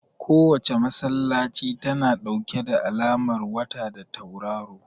Kowace masallaci tana ɗauke da alamar wata da tauraro